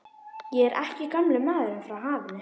Ég er ekki gamli maðurinn frá hafinu.